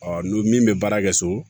n'o min bɛ baara kɛ so